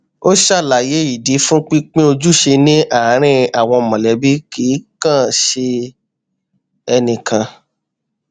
ó ṣàlàyé ìdí fún pínpín ojúṣe ní àárín àwọn mọlẹbí kì í kàn ṣe ẹnìkan